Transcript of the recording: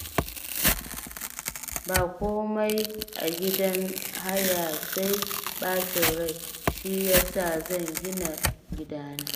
Ba komai a gidan haya sai ɓacin rai, shi ya sa zan gina gidana